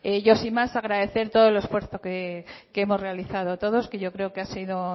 yo sin más agradecer todo el esfuerzo que hemos realizado todos que yo creo que ha sido